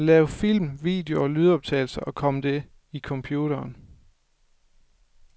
Lav film, video og lydoptagelser og kom det i computeren.